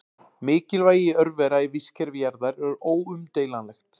Mikilvægi örvera í vistkerfi jarðar er óumdeilanlegt.